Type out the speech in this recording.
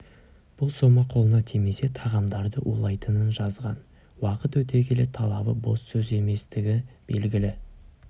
бұл сома қолына тимесе тағамдарды улайтынын жазған уақыт өте келе талабы бос сөз еместігі белгілі